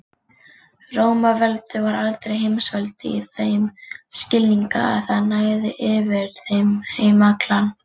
Rómaveldi var aldrei heimsveldi í þeim skilningi að það næði yfir heim allan.